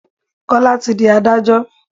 Kọ́lá tí di Ádájọ́.